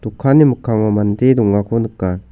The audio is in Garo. dokanni mikkango mande dongako nika.